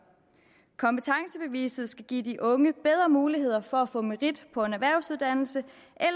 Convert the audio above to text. kompetencebeviset skal give de unge bedre muligheder for at få merit på en erhvervsuddannelse